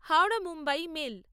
Howrah Mumbai mail